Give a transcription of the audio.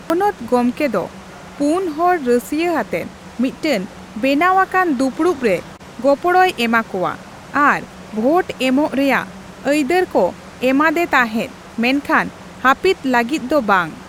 ᱯᱚᱱᱚᱛ ᱜᱚᱢᱠᱮ ᱫᱚ ᱯᱳᱱ ᱦᱚᱲ ᱨᱟᱹᱥᱤᱭᱟᱹ ᱟᱛᱮ ᱢᱤᱫᱴᱟᱝ ᱵᱮᱱᱟᱣ ᱟᱠᱟᱱ ᱫᱩᱯᱩᱲᱩᱯ ᱨᱮ ᱜᱚᱯᱚᱲᱚᱭ ᱮᱢᱟᱼᱠᱚᱣᱟ ᱟᱨ ᱵᱷᱳᱴ ᱮᱢᱚᱜ ᱨᱮᱭᱟᱜ ᱟᱹᱭᱫᱟᱹᱨ ᱠᱚ ᱮᱢᱟᱫᱮ ᱛᱟᱦᱮᱸᱫ ᱢᱮᱱᱠᱷᱟᱱ ᱦᱟᱹᱯᱤᱫ ᱞᱟᱹᱜᱤᱫ ᱫᱚ ᱵᱟᱝ ᱾